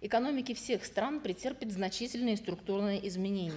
экономики всех стран претерпят значительные структурные изменения